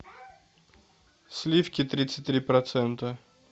сливки тридцать три процента